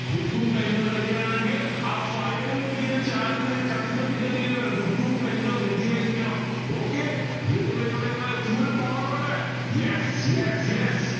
book pen ready ആണെങ്കിൽ കത്തി കത്തി ഇങ്ങനെ വരും book pen ready ആയിരിക്കണം okay വേഗം വേഗം വേഗം full power on yes yes yes